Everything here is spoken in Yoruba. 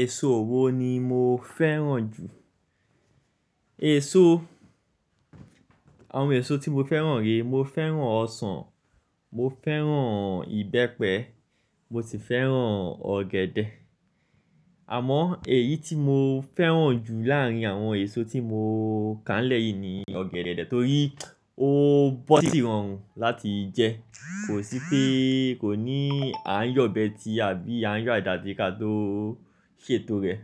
Èso wo ni mo fẹ́ràn jù? Èso, àwọn èso tí mo fẹ́ràn re, mo fẹ́ràn ọsàn, mo fẹ́ràn ìbẹ́pẹ, mo sì fẹ́ràn ọ̀gẹ̀dẹ̀. Àmọ́ èyí tí mo fẹ́ràn jù láàrín àwọn èso tí mo kà nlẹ̀ yìí ni ọ̀gẹ̀dẹ̀, torí ó bọ́ sì rọrùn láti jẹ. Kò sí pé kò ní a n yo obe tí àbí a n yo adà sí ká tó ṣètò rẹ̀.